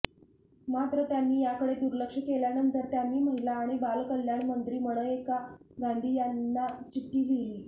मात्र त्यांनी याकडे दुर्लक्ष केल्यानंतर त्यांनी महिला आणि बालकल्याण मंत्री मनेका गांधी यांना चिठ्ठी लिहिली